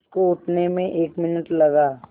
उसको उठने में एक मिनट लगा